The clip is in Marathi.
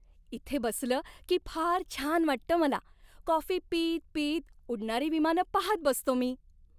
इथे बसलं की फार छान वाटतं मला, कॉफी पीत पीत उडणारी विमानं पाहत बसतो मी.